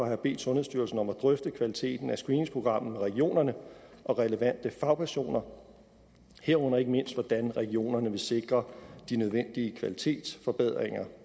jeg bedt sundhedsstyrelsen om at drøfte kvaliteten af screeningsprogrammet med regionerne og relevante fagpersoner herunder ikke mindst hvordan regionerne vil sikre de nødvendige kvalitetsforbedringer